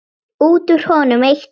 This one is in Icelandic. Við sitjum eftir þöglar.